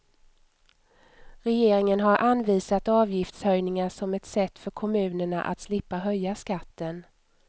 Regeringen har anvisat avgiftshöjningar som ett sätt för kommunerna att slippa höja skatten.